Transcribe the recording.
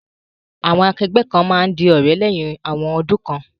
Àwon akẹgbẹ́ kan ma n di òrẹ́ léyhin awon odún kan